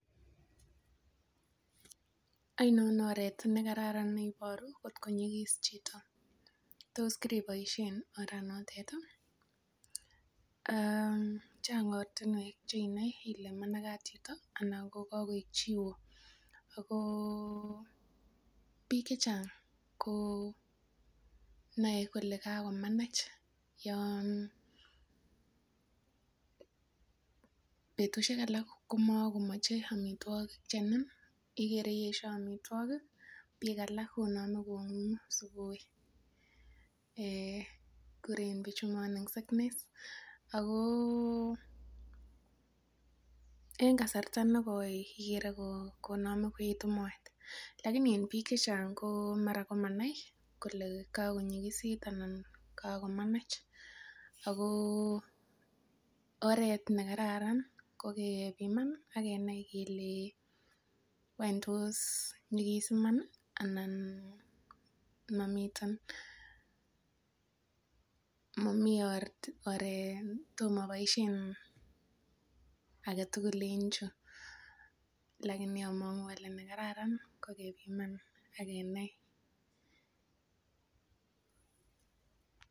Ainon oret nekararan oleiboru kot ko nyikis chito, tos kikiboisien oret natet ih. Chang ortinuek cheinae Ile managet chito anan kaek chio. Ko bik chechang konae kole kabkomanach yoon betusiek alak komakomache amituogik chechang ih. Ikere esia amituakik, bik alak kong'ungu. Um kuren bichu morning sickness oko en kasarta nekoi ikere iname koetu maetlakini en bik chechang mara komanai kole kakonyigisit anan kagomanatch Ako oret nekararan kokebiman akenai kele wany tos nyigis iman ih anan mamiten mamiten . Oret agetugul lakini amang'uu ale nekararan ko kebiman iman akenai.